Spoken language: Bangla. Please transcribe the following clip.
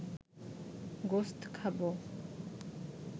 গোস্ত খাবে